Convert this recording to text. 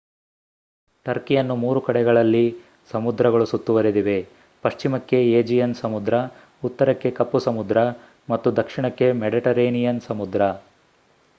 ಟರ್ಕಿಯನ್ನು 3 ಕಡೆಗಳಲ್ಲಿ ಸಮುದ್ರಗಳು ಸುತ್ತುವರೆದಿವೆ ಪಶ್ಚಿಮಕ್ಕೆ ಏಜಿಯನ್ ಸಮುದ್ರ ಉತ್ತರಕ್ಕೆ ಕಪ್ಪು ಸಮುದ್ರ ಮತ್ತು ದಕ್ಷಿಣಕ್ಕೆ ಮೆಡಿಟರೇನಿಯನ್ ಸಮುದ್ರ